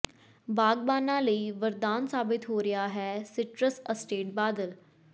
ਬਾਗ਼ਬਾਨਾਂ ਲਈ ਵਰਦਾਨ ਸਾਬਤ ਹੋ ਰਿਹਾ ਹੈ ਸਿਟਰਸ ਅਸਟੇਟ ਬਾਦਲ